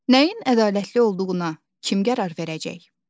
Nəyin ədalətli olduğuna kim qərar verəcək?